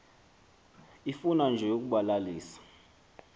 ifuna nje ukubalalisa